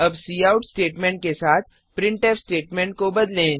अब cout statement के साथ प्रिंटफ स्टेटमेंट बदलें